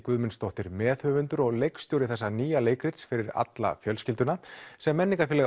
Guðmundsdóttir meðhöfundur og leikstjóri þessa nýja leikrits fyrir alla fjölskylduna sem